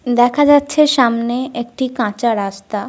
দেখা যাচ্ছে সামনের একটি কাঁচা রাস্তা।